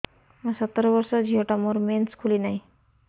ମୁ ସତର ବର୍ଷର ଝିଅ ଟା ମୋର ମେନ୍ସେସ ଖୁଲି ନାହିଁ